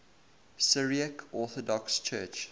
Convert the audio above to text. syriac orthodox church